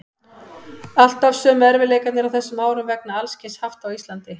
Alltaf sömu erfiðleikarnir á þessum árum vegna alls kyns hafta á Íslandi.